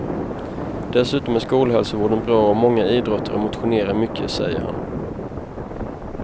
Dessutom är skolhälsovården bra och många idrottar och motionerar mycket, säger han.